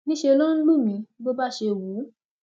níṣẹ ló ń lù mí bó bá ṣe wù ú